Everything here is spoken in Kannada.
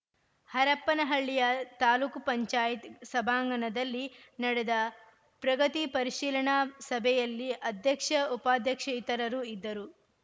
ಹರಪನಹಳ್ಳಿಯ ತಾಲೂಕ್ ಪಂಚಾಯತ್ ಸಭಾಂಗಣದಲ್ಲಿ ನಡೆದ ಪ್ರಗತಿ ಪರಿಶೀಲನಾ ಸಭೆಯಲ್ಲಿ ಅಧ್ಯಕ್ಷ ಉಪಾಧ್ಯಕ್ಷ ಇತರರು ಇದ್ದರು